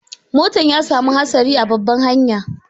Motan ya samu hatsari babban hanya.